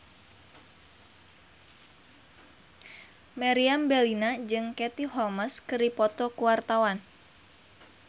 Meriam Bellina jeung Katie Holmes keur dipoto ku wartawan